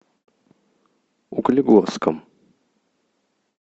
углегорском